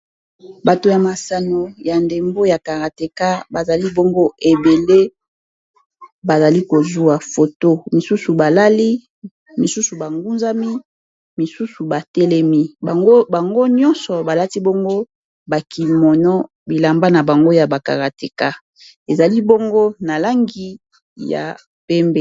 bato ya masano ya ndembo ya karate bazali bongo ebele bazali kozwa foto misusu balali misusu bangunzami misusu batelemi bango nyonso balati bongo bakimono bilamba na bango ya ba karateka ezali bongo na langi ya pembe